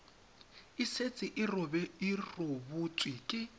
e setse e rebotswe ke